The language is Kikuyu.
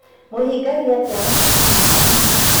Mũhingagia atĩa mabata ka kanitha?